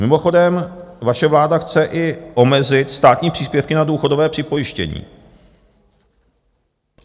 Mimochodem, vaše vláda chce i omezit státní příspěvky na důchodové připojištění.